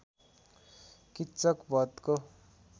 Kichak बधको